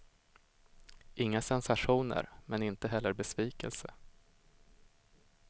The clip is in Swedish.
Inga sensationer, men inte heller besvikelse.